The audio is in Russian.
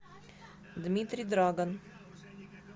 дмитрий драгон